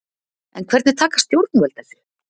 En hvernig taka stjórnvöld þessu?